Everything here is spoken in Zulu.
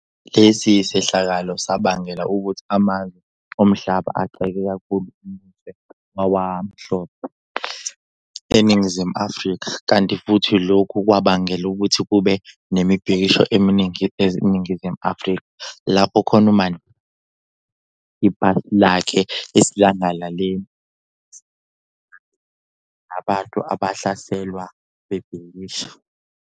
Lesi sehlakalo sabangela ukuthi amazwe omhlaba agxeke kakhulu umbuso wawamhlophe eNingizimu Afrika, kanti futhi lokhu kwabangela ukuthi kube nemibhikisho eminingi eNingizimu Afrika, lapho khona uMandela ashisa khona ipasi lakhe esidlangalaleni ukubonisa ukuzwelana nabantu abahlaselwa bebhikisha.